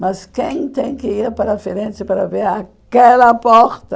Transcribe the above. Mas quem tem que ir para a Firenze para ver aquela porta?